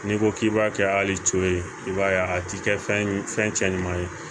N'i ko k'i b'a kɛ hali coye i b'a ye a ti kɛ fɛn cɛ ɲuman ye